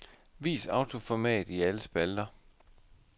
Vis autoformat i alle spalter.